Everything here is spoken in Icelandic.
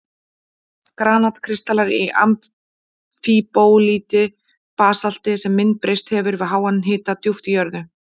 Granat-kristallar í amfíbólíti, basalti sem myndbreyst hefur við háan hita djúpt í jörðu.